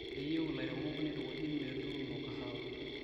Keyieu lairemok neitukuji metuuno kahawa